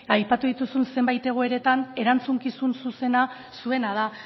aipatu dituzun zenbait egoeretan erantzukizun zuzena zuena da